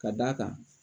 Ka d'a kan